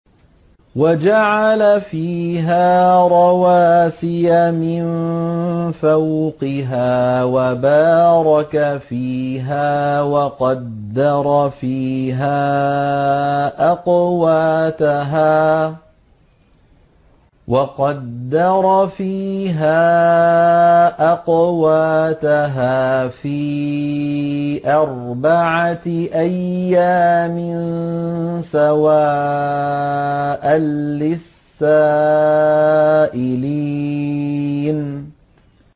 وَجَعَلَ فِيهَا رَوَاسِيَ مِن فَوْقِهَا وَبَارَكَ فِيهَا وَقَدَّرَ فِيهَا أَقْوَاتَهَا فِي أَرْبَعَةِ أَيَّامٍ سَوَاءً لِّلسَّائِلِينَ